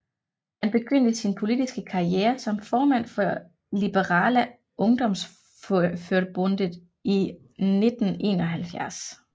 Han begyndte sin politiske karriere som formand for Liberala Ungdomsförbundet i 1971